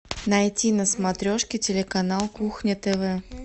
найти на смотрешке телеканал кухня тв